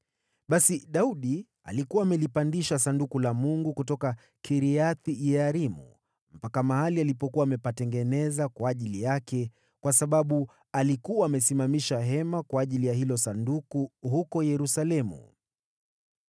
Basi Daudi alikuwa amelipandisha Sanduku la Mungu kutoka Kiriath-Yearimu mpaka mahali alipokuwa amepatengeneza kwa ajili yake, kwa sababu alikuwa amesimamisha hema kwa ajili ya hilo Sanduku huko Yerusalemu.